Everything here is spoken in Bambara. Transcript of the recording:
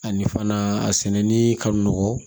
Ani fana a sɛnɛni ka nɔgɔn